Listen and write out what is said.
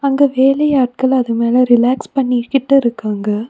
அங்க வேலை ஆட்கள் அது மேல ரிலாக்ஸ் பண்ணிகிட்டு இருக்காங்க.